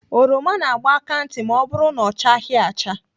Oroma na-agba aka ntị ma ọ bụrụ na ọ chaghị acha.